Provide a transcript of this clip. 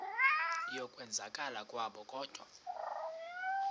yokwenzakala kwabo kodwa